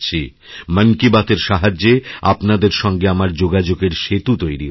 মন কিবাতএর সাহায্যে আপনাদের সঙ্গে আমার যোগাযোগের সেতু তৈরি হয়েছে